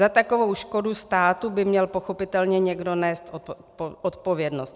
Za takovou škodu státu by měl pochopitelně někdo nést odpovědnost.